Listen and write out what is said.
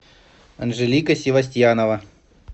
анжелика севастьянова